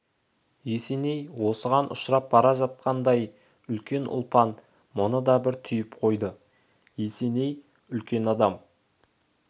есеней осыған ұшырап бара жатқандай екен ұлпан мұны да бір түйіп қойды есеней үлкен адам